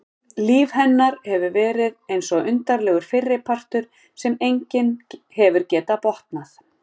Líf hennar hefur verið eins og undarlegur fyrripartur sem enginn hefur getað botnað.